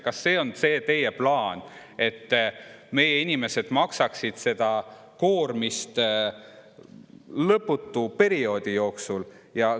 Kas see on teie plaan, et meie inimesed maksaksid seda koormist lõputu perioodi jooksul?